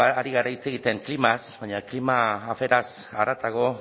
ari gara hitz egiten klimaz baina klima aferaz haratago